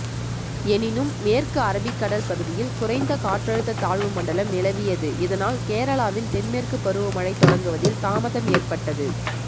எனினும் மேற்கு அரபிக்கடல் பகுதியில் குறைந்த காற்றழுத்த தாழ்வுமண்டலம் நிலவியது இதனால் கேரளாவில் தென்மேற்கு பருவமழை தொடங்குவதில் தாமதம் ஏற்பட்டது